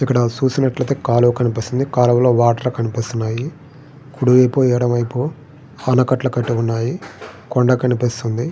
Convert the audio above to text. ఇక్కడ సుసినట్టు అయితే కాలువ కనిపిస్తుంది కాలువ లో వాటర్ కనిపిస్తునాయి కుడి వైపు ఎడుమ వైపు ఆనకట్టు కట్టి ఉన్నాయి కొండ కనిపిస్తుంది.